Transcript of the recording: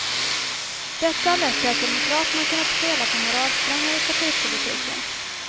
Detta har lett till att demokraterna kunnat spela på moralsträngar i partipolitiken.